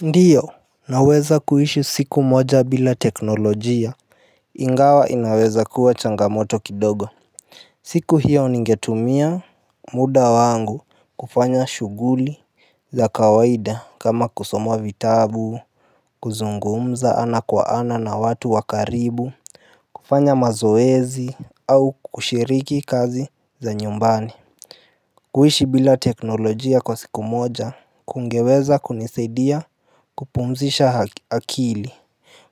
Ndiyo naweza kuishi siku moja bila teknolojia Ingawa inawezakuwa changamoto kidogo siku hiyo ningetumia muda wangu kufanya shuguli za kawaida kama kusoma vitabu kuzungumza ana kwa ana na watu wa karibu kufanya mazoezi au kushiriki kazi za nyumbani kuishi bila teknolojia kwa siku moja Kungeweza kunisaidia kupumzisha akili